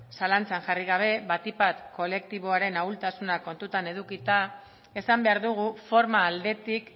zalantzan jarri gabe batik bat kolektiboaren ahultasuna kontuan edukita esan behar dugu forma aldetik